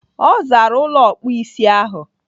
Ọ zaara ụlọ ọkpụisi ahụ.